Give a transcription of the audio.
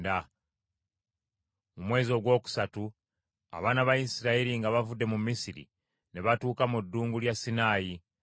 Mu mwezi ogwokusatu abaana ba Isirayiri nga bavudde mu Misiri, ne batuuka mu Ddungu lya Sinaayi.